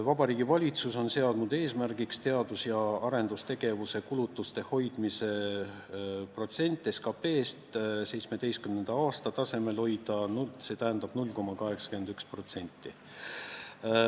Vabariigi Valitsus on seadnud eesmärgiks hoida teadus- ja arendustegevuse kulutuste protsent SKP-st 2017. aasta tasemel ehk siis 0,81%.